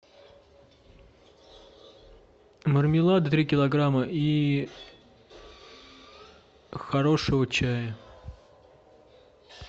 мармелад три килограмма и хорошего чая